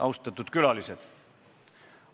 Austatud külalised!